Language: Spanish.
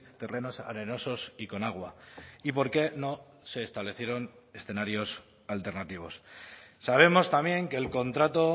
terrenos arenosos y con agua y por qué no se establecieron escenarios alternativos sabemos también que el contrato